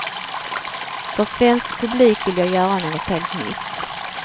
För svensk publik vill jag göra något helt nytt.